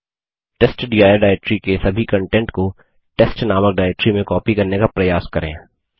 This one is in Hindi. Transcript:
टेस्टडिर डाइरेक्टरी के सभी कन्टेंट को testनामक डाइरेक्टरी में कॉपी करने का प्रयास करें